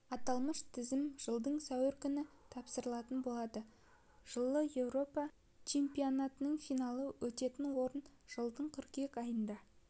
аталмыш тізім жылдың сәуірі күні тапсырылатын болады жылғы еуропа чемпионатының финалы өтетін орын жылдың қыркүйек айында